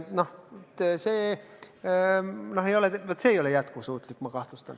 Vaat see, ma kahtlustan, ei ole jätkusuutlik.